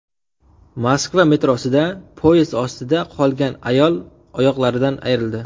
Moskva metrosida poyezd ostida qolgan ayol oyoqlaridan ayrildi.